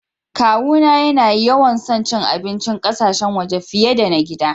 Kawu na ya na yawan son abincin ƙasashen waje fiyar da na gida.